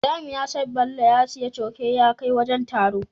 Ibrahim yasa Bello ya siya coke ya kai wajan taron